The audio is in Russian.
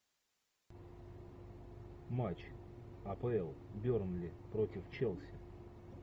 матч апл бернли против челси